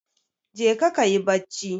Jeka ka yi bacci.